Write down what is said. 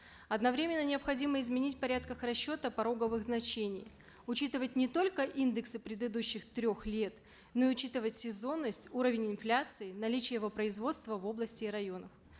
одновременно необходимо изменить в порядках расчета пороговые значения учитывать не только индексы предыдущих трех лет но и учитывать сезонность уровень инфляции наличия его производства в области и районах